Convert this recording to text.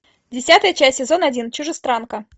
десятая часть сезон один чужестранка